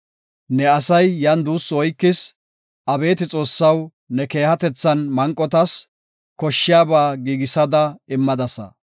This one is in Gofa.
Ne asay yan duussu oykis; abeeti Xoossaw, ne keehatethan manqotas koshshiyaba giigisada immadasa.